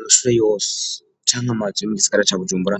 Amashure yose canke amazu yo mu gisigara ca Bujumbura